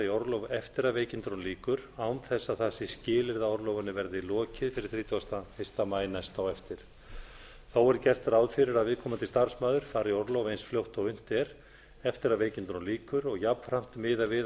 orlof eftir að veikindunum lýkur án þess að það sé skilyrði að orlofinu verði lokið fyrir þrítugasta og fyrsta maí næst á eftir þó er gert ráð fyrir að viðkomandi starfsmaður fari í orlof eins fljótt og unnt er eftir að veikindunum lýkur og jafnframt miðað við að